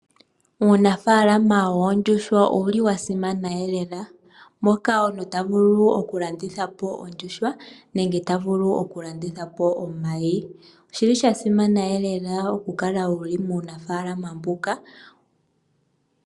Uunafaalama woondjuhwa owuli wa simana lela, moka omuntu ta vulu okulanditha po ondjuhwa nenge ta vulu okulanditha po omayi. Oshili sha simana lela okukala wu li muunafaalama mbuka.